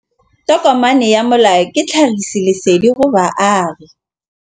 Tokomane ya molao ke tlhagisi lesedi go baagi.